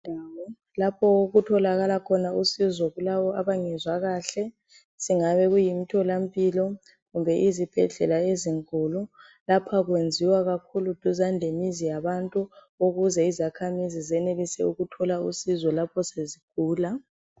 Indawo lapho okutholakala khona usizo kulabo abangezwa kahle singabe kuyimtholampilo kumbe izibhedlela ezinkulu lapha kwenziwa kakhulu duzane lemizi yabantu ukuze izakhamizi zenelise ukuthola usizo lapho sezigula.